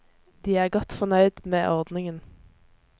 De er godt fornøyd med ordningen.